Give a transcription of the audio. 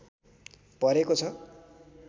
परेको छ